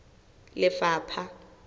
lefapha